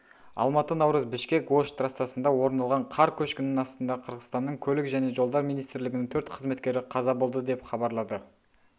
алматы наурыз бішкек-ош трассасында орын алған қар көшкінінің астында қырғызстанның көлік және жолдар министрлігінің төрт қызметкері қаза болды деп хабарлады